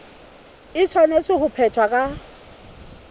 e tshwanetse ho phethwa ka